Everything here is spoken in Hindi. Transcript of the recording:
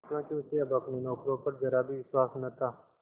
क्योंकि उसे अब अपने नौकरों पर जरा भी विश्वास न था